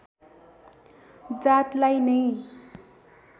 जातलाई नै